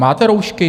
Máte roušky?